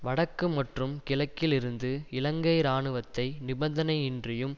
வடக்கு மற்றும் கிழக்கில் இருந்து இலங்கை இராணுவத்தை நிபந்தனையின்றியும்